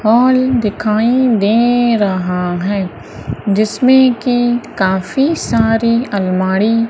hall दिखाई दे रहा है जिसमें की काफी सारी अलमारी--